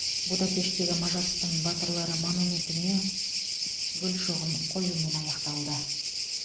будапешттегі мажарстан батырлары монументіне гүл шоғын қоюмен аяқталды